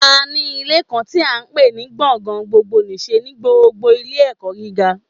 A ní Ilé kan tí à n pè ní gbọ̀ngàn gbogbo nìse ní gbogbo Ilé ẹ̀kọ́ gíga